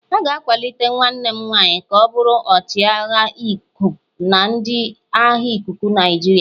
A ga-akwalite nwanne m nwanyị ka ọ bụrụ ọchịagha nku na ndị agha ikuku Nigeria.